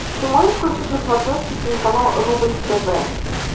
ты можешь включить на смотрешке телеканал рубль тв